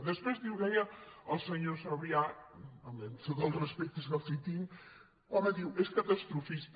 després deia el senyor sabrià amb tot el respecte que li tinc home diu és catastrofista